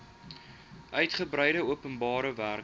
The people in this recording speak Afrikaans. uigebreide openbare werke